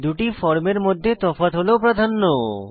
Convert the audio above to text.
দুটি ফর্মের মধ্যে তফাৎ হল প্রাধান্য